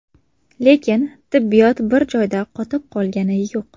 Lekin tibbiyot bir joyda qotib qolgani yo‘q.